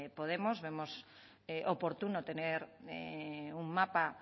podemos vemos oportuno tener un mapa